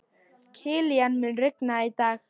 Kilían, mun rigna í dag?